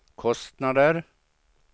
kostnader